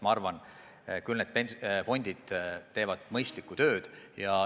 Ma arvan, et meie pensionifondid teevad mõistlikku tööd.